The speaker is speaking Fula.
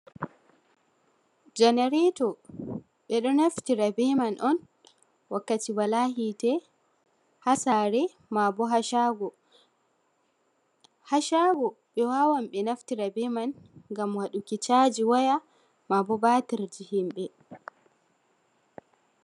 Janareeto, ɓe ɗo naftira be man on wakkati wala hiite ha saare maabo ha shaago, ha shaago ɓe wawan ɓe naftira be man ngam waɗuki chaaji waya maabo batirji himɓe.